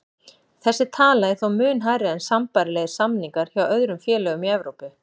Þessi tala er þó mun hærri en sambærilegir samningar hjá öðrum félögum í Evrópu.